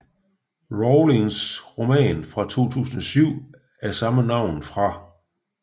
Rowlings roman fra 2007 af samme navn fra